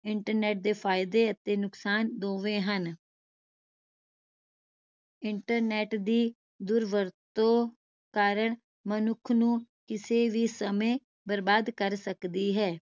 internet ਦੇ ਫਾਇਦੇ ਅਤੇ ਨੁਕਸਾਨ ਦੋਵੇਂ ਹਨ internet ਦੀ ਦੁਰਵਰਤੋਂ ਕਾਰਣ ਮਨੁੱਖ ਨੂੰ ਕਿਸੇ ਵੀ ਸਮੇ ਬਰਬਾਦ ਕਰ ਸਕਦੀ ਹੈ